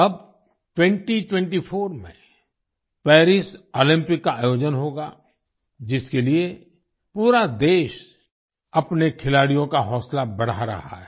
अब 2024 में Paris Olympic का आयोजन होगा जिसके लिए पूरा देश अपने खिलाड़ियों का हौसला बढ़ा रहा है